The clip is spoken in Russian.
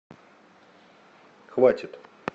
хватит